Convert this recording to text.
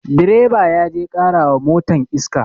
Direba ya je ƙara wa motan iska